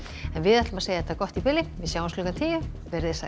en við segjum þetta gott í bili sjáumst klukkan tíu verið þið sæl